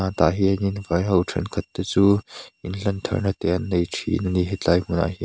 chhuat ah hianin vai ho thenkhat te chu in hlan thar na te an nei thin a ni hetlai hmun ah hian--